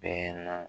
Bɛɛ na